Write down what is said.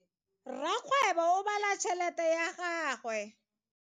Rakgwebo o bala tšhelete ya gagwe.